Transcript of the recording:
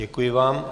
Děkuji vám.